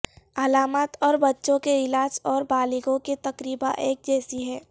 علامات اور بچوں کے علاج اور بالغوں کے تقریبا ایک جیسی ہیں